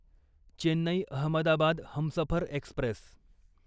Chennai Ahmedabad Humsafar Express